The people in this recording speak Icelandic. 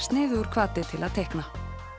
sniðugur hvati til að teikna